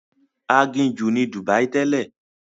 Aginjù ni Dubai tẹ́lẹ̀.